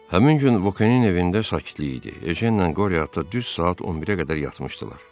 Həmin gün Vokenin evində sakitlik idi, Ejenlə Qoriot düz saat 11-ə qədər yatmışdılar.